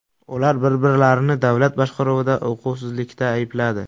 Ular bir-birlarini davlat boshqaruvida uquvsizlikda aybladi.